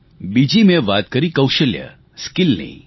બીજી મેં વાત કરી કૌશલ્યસ્કીલની